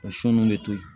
O sun de to yen